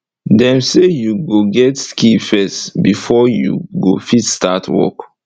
dem say u go get skill first before u go fit start ur work